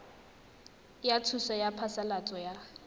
ya thuso ya phasalatso ya